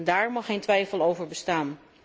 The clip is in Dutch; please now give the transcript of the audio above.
Daar mag geen twijfel over bestaan.